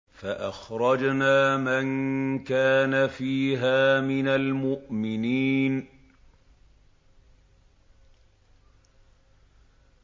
فَأَخْرَجْنَا مَن كَانَ فِيهَا مِنَ الْمُؤْمِنِينَ